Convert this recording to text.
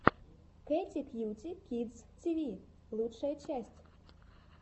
кэти кьюти кидс ти ви лучшая часть